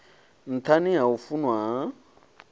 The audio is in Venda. nṱhani ha u funwa ha